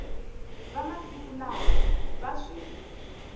va masiku lawa va swi